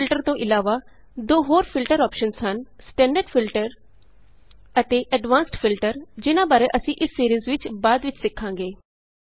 AutoFilterਤੋਂ ਇਲਾਵਾ ਦੋ ਹੋਰ ਫਿਲਟਰ ਅੋਪਸ਼ਨਸ ਹਨ ਸਟੈਂਡਰਡ Filterਅਤੇ ਐਡਵਾਂਸਡ ਫਿਲਟਰ ਜਿਨ੍ਹਾਂ ਬਾਰੇ ਅਸੀਂ ਇਸ ਸੀਰੀਜ਼ ਵਿਚ ਬਾਅਦ ਵਿਚ ਸਿੱਖਾਂਗੇ